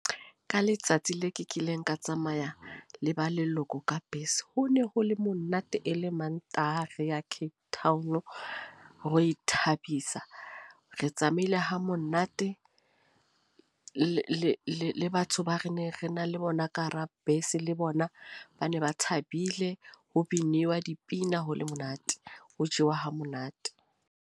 Ka letsatsi le ke kileng ka tsamaya le ba leloko ka bese. Ho ne ho le monate e le Mantaha re ya Cape Town, ho ithabisa. Re tsamaile ho monate, le batho ba re ne re na le bona ka hara bese, le bona ba ne ba thabile. Ho biniwa dipina, ho le monate. Ho jewa ha monate.